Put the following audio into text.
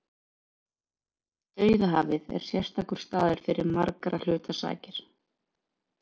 Dauðahafið er sérstakur staður fyrir margra hluta sakir.